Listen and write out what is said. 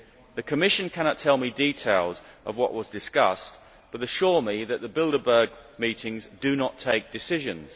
The Commission cannot give me details of what was discussed, but assures me that the Bilderberg meetings do not take decisions.